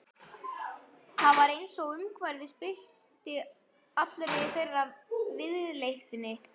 Það var einsog umhverfið spillti allri þeirra viðleitni.